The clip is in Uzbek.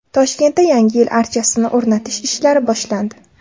Toshkentda Yangi yil archasini o‘rnatish ishlari boshlandi .